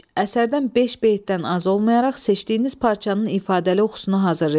Əsərdən beş beytdən az olmayaraq seçdiyiniz parçanın ifadəli oxusuna hazırlayın.